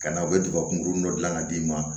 Ka na u bɛ daba kunkurunin dɔ dilan ka d'i ma